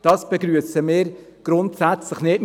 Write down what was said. Das begrüssen wir grundsätzlich nicht.